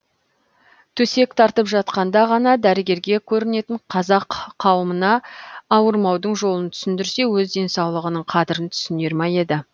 төсек тартып жатқанда ғана дәрігерге көрінетін қазақ қауымына ауырмаудың жолын түсіндірсе өз денсаулығының қадірін түсінер ма еді